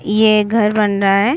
ये एक घर बन रहा है।